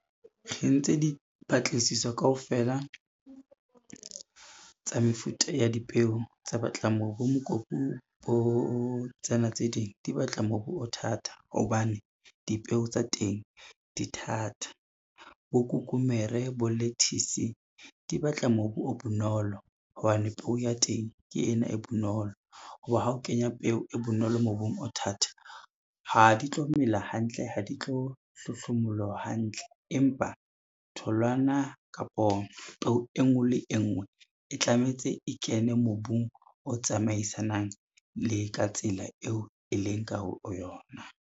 Re entse dipatlisiso kaofela, tsa mefuta ya dipeo tsa batla bo mokopu bo tsena tse ding di batla mobu o thata hobane, dipeo tsa teng di thata. Bo kukumere, bo lettuce, di batla mobu o bonolo hobane peo ya teng ke ena e bonolo ho ba ha o kenya peo e bonolo mobung o thata, ha di tlo mela hantle, ha di tlo hlohlomolowa hantle, empa tholwana kapo peo e ngwe le e ngwe e tlametse e kene mobung o tsamaisanang le ka tsela eo e leng ka ho yona.